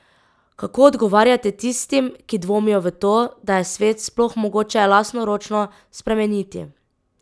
Kako odgovarjate tistim, ki dvomijo v to, da je svet sploh mogoče lastnoročno spremeniti?